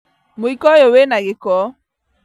Mũiko ũyũ wĩna gĩko